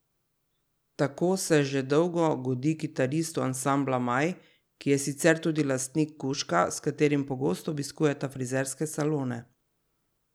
Tako se že dolgo godi kitaristu ansambla Maj, ki je sicer tudi lastnik kužka, s katerim pogosto obiskujeta frizerske salone.